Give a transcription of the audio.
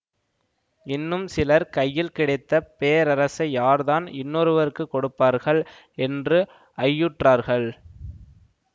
இன்னும் சிலர் கையில் கிடைத்த பேரரசை யார் தான் இன்னொருவருக்குக் கொடுப்பார்கள் என்று ஐயுற்றார்கள்